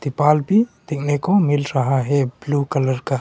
पाल भी देखने को मिल रहा है ब्लू कलर का।